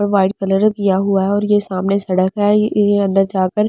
white colour किया हुआ है और ये सामने सड़क है ये अंदर जाकर --